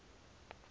box office success